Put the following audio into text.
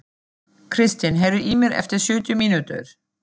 Kristin, heyrðu í mér eftir sjötíu mínútur.